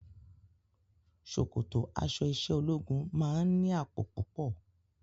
Ṣòkòtò aṣọ iṣẹ́ ológun máa ń ní àpò púpọ̀